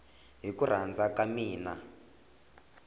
hi ku rhandza ka mina